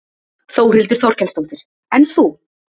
Þórhildur Þorkelsdóttir: En þú?